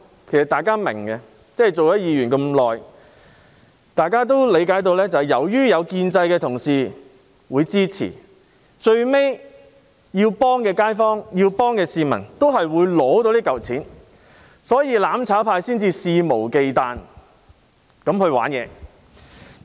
其實大家都明白，擔任議員多年，大家都理解到，由於建制派同事會支持，所以需要幫助的街坊、需要幫助的市民，最終都會得到這筆錢，所以"攬炒派"才會肆無忌憚地玩弄這些伎倆。